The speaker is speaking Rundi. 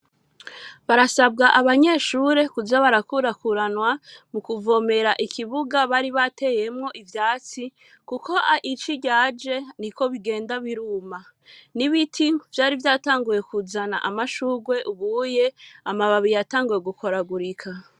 Barasabwa, abanyeshure, kuza barakurakuranwa, mu kuvomera ikibuga, bari bateyemwo ivyatsi, kuko ici ryaje, niko bigenda biruma; n'ibiti, vyari vyatanguye, kuzana amashurwe, ubuye, amababi yatanguye, gukoragurika.